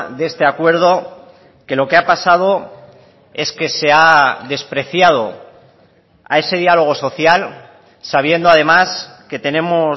de este acuerdo que lo que ha pasado es que se ha despreciado a ese diálogo social sabiendo además que tenemos